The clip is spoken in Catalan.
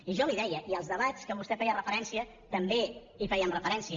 i jo li ho deia i als debats a què vostè feia referència també hi fèiem referència